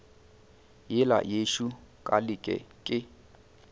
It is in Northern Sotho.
yela yešo ka leke ke